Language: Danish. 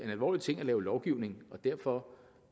en alvorlig ting at lave lovgivning og derfor